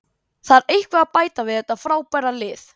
Þarf eitthvað að bæta við þetta frábæra lið?